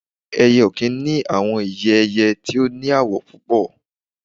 Ẹyẹ okin ni awọn ìyẹ̀ ẹ̀yẹ̀ tí o ní àwọ̀ púpọ̀